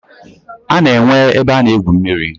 A na-enwe ebe a na-egwu mmiri.